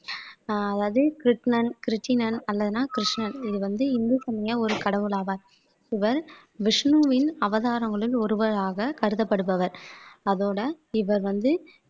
ஆஹ் அதாவது கிருட்ணன் கிருட்டிணன் கிருஷ்ணன் இது வந்து இந்து சமய ஒரு கடவுள் ஆவார் இவர் விஷ்ணுவின் அவதாரங்களில் ஒருவராக கருதப்படுபவர் அதோட இவர் வந்து